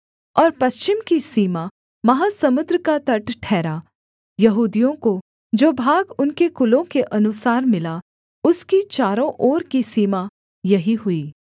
और पश्चिम की सीमा महासमुद्र का तट ठहरा यहूदियों को जो भाग उनके कुलों के अनुसार मिला उसकी चारों ओर की सीमा यही हुई